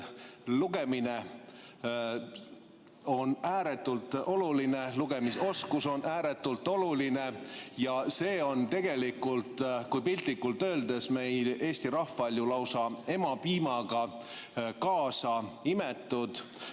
Lugemine on ääretult oluline, lugemisoskus on ääretult oluline ja see on tegelikult, kui piltlikult öelda, meil eesti rahval ju lausa emapiimaga sisse imetud.